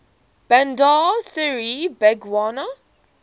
bandar seri begawan